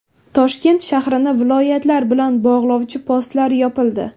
Toshkent shahrini viloyatlar bilan bog‘lovchi postlar yopildi.